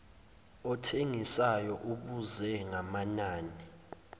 othengisayo ubuze ngamanani